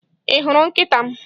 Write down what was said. Ị hụrụ nkịta m?